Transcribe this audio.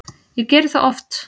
Ég geri það oft